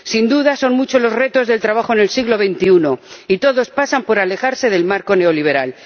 Sin duda, son muchos los retos del trabajo en el siglo XXI y todos pasan por alejarse del marco neoliberal.